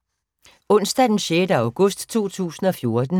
Onsdag d. 6. august 2014